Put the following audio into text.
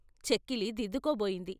చెక్కిలి దిద్దుకోబోయింది.